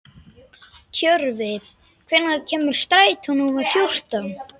Tjörvi, hvenær kemur strætó númer fjórtán?